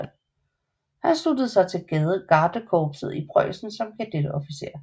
Han sluttede sig til gardekorpset i Preussen som kadetofficer